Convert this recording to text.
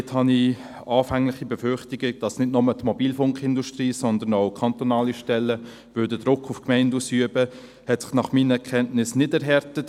Dort haben sich meine anfänglichen Befürchtungen, dass nicht nur die Mobilfunkindustrie, sondern auch kantonale Stellen Druck auf Gemeinden ausüben würden, nach meinen Kenntnissen nicht erhärtet.